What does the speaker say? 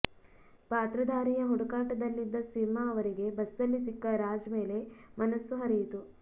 ಪಾತ್ರಧಾರಿಯ ಹುಡುಕಾಟದಲ್ಲಿದ್ದ ಸಿಂಹ ಅವರಿಗೆ ಬಸ್ಸಲ್ಲಿ ಸಿಕ್ಕ ರಾಜ್ ಮೇಲೆ ಮನಸ್ಸು ಹರಿಯಿತು